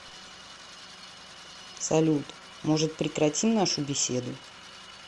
салют может прекратим нашу беседу